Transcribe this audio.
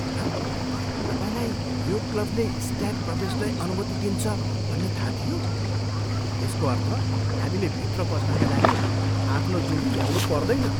प्रणव, तपाईँलाई यो क्लबले स्ट्याग प्रवेशलाई अनुमति दिन्छ भन्ने थाहा थियो? यसको अर्थ हामीले भित्र पस्नाका लागि आफ्नो जोडी ल्याउनु पर्दैन!